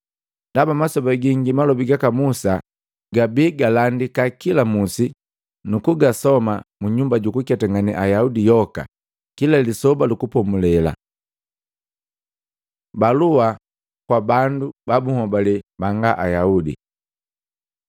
Ndaba masoba gingi malobi gaka Musa gabi galandika kila musi nukugasoma mu nyumba jukuketangane Ayaudi yoka kila Lisoba lu Kupomulela.” Balua kwaka bandu babuhole banga Ayaudi